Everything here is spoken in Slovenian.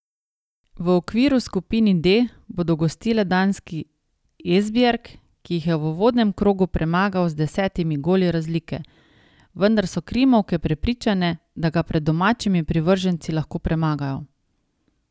V okviru skupini D bodo gostile danski Esbjerg, ki jih je v uvodnem krogu premagal z desetimi goli razlike, vendar so krimovke prepričane, da ga pred domačimi privrženci lahko premagajo.